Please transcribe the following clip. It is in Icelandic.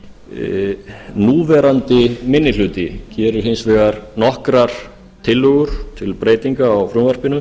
hér núverandi minni hluti gerir hins vegar nokkrar tillögur til breytinga á frumvarpinu